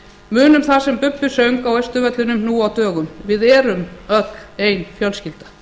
munum það sem bubbi söng á austurvellinum nú á dögum við erum öll ein fjölskylda